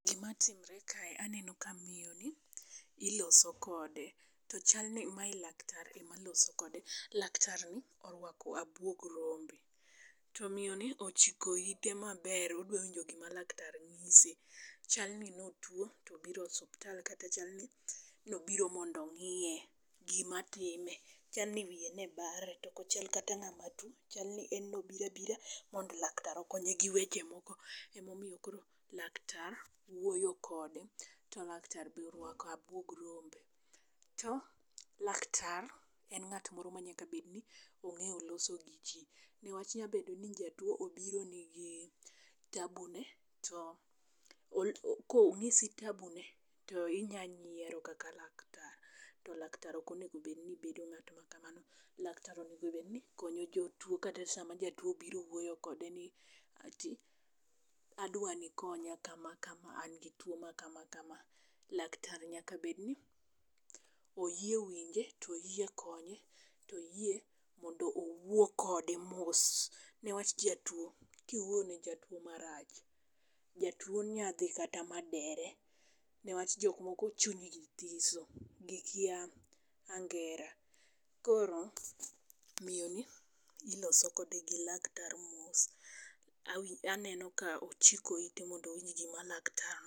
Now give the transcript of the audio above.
Gima timre kae aneno ka miyo ni iloso kode, to chal ni maye laktar ema loso kode. Laktarni orwako abuog rombe, to miyoni ochiko ite maber odwa winjo gima laktar ng'ise. Chal ni notuo tobiro osuptal, kata chalni nobiro mondo ong'iye gima time. Chalni wiye ne bare tokochal kata ng'ama tuo, chalni en nobira bira mondo laktar okonye gi weche moko. Emomiyo koro laktar wuoyo kode, to laktar borwako abuog rombe. To laktar en ng'at moro ma nyaka bed ni ong'eyo loso gi ji. Newach nyabedo ni jatuo obiro ni gi tabu ne to ko ong'isi tabu ne to inya nyiero kaka laktar. To laktar okonego bedni bedo ng'at ma kamano. Laktar onegobedni konyo jotuo sama jatuo obiro wuoyo kode ni ati adwani ikonya kama kama, an gi tuo ma kama kama. Laktar nyaka bedni oyie winje toyie konye, toyie mondo owuo kode mos. Newach jatuo kiwuoyo ne jatuo marach, jatuo nyadhi kata ma dere. Newach jok moko chunygi thiso, gikia angera. Koro, miyo ni, iloso kode gi laktar mos, awin aneno ka ochiko ite mondo owinj gima laktar.